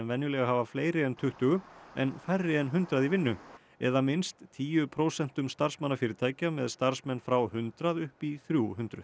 venjulega hafa fleiri en tuttugu en færri en hundrað í vinnu eða minnst tíu prósentum starfsmanna fyrirtækja með starfsmenn frá hundrað upp í þrjú hundruð